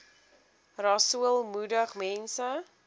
rasool moedig mense